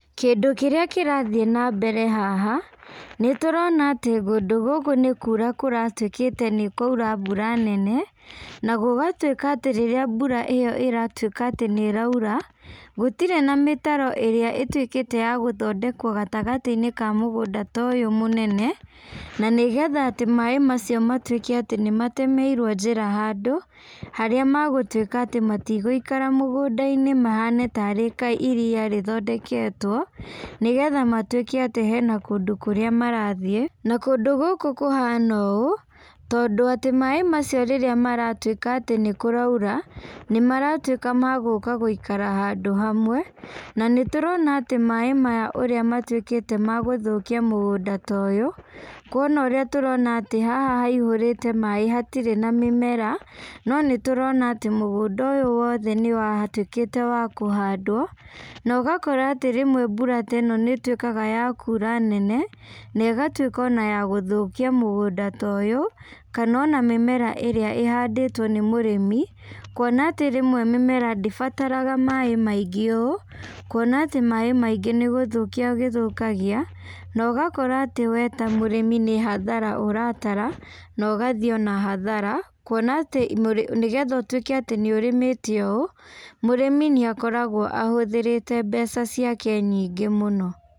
Kĩndũ kĩrĩa kĩrathiĩ nambere haha, nĩtũrona atĩ kũndũ gũkũ nĩkura karatuĩkĩte nĩkwaura mbura nene, na gũgatuĩka atĩ rĩrĩa mbura ĩyo ĩratuĩka atĩ nĩraura, gũtirĩ na mĩtaro ĩrĩa ĩtuĩkĩte ya gũthodekwo gatagatĩinĩ ka mũgũnda ta ũyũ mũnene, na nĩgetha atĩ maĩ macio matuĩke atĩ nĩmatemeirwo njĩra handũ, harĩa magũtuĩka atĩ matigũikara mũgũndainĩ mahane tarĩ ka iria rĩthondeketwo, nĩgetha matuĩke atĩ hena kũndũ kũrĩa marathiĩ, na kũndũ gũkũ kũhana ũũ, tondũ atĩ maĩ macio rĩrĩa marĩtuĩka atĩ nĩkũraura, nĩmaratuĩka ma gũka gũikara handũ hamwe, na nĩtũrona atĩ maĩ maya ũrĩa matuĩkĩte ma gũthũkia mũgũnda ta ũyũ, kuona ũrĩa tũrona atĩ haha haihũrĩte maĩ hatirĩ na mĩmera, no nĩtũrona atĩ mũgũnda ũyũ wothe nĩwatuĩkĩte wa kũhandwo, na ũgakora atĩ rĩmwe mbura ta ĩno nĩtuĩkaga ya kura nene, na ĩgatuĩka ona ya gũthũkia mũgũnda ta ũyũ, kana ona mĩmera ĩrĩa ĩhandĩtwo nĩmũrĩmi, kuona atĩ rĩmwe mĩmera ndĩbataraga maĩ maingĩ ũũ, kuona atĩ maĩ maingĩ nĩgũthũkia gĩthũkagia, na ũgakora atĩ we ta mũrĩmi nĩhathara ũratara, na ũgathiĩ onahathara, kuona atĩ nĩgetha ũtuĩke atĩ nĩũrĩmĩte ũũ, mũrĩmi nĩakoragwo ahũthĩrĩte mbeca ciake nyingĩ mũno.